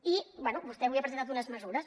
i bé vostè avui ha presentat unes mesures